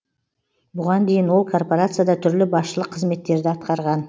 бұған дейін ол корпорацияда түрлі басшылық қызметтерді атқарған